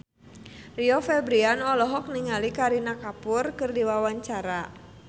Rio Febrian olohok ningali Kareena Kapoor keur diwawancara